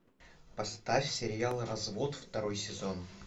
поставь сериал развод второй сезон